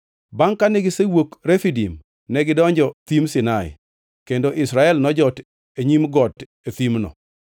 Bangʼ kane gisewuok Refidim, negidonjo thim Sinai, kendo Israel nojot e nyim got e thimno.